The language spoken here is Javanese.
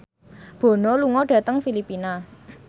Bono lunga dhateng Filipina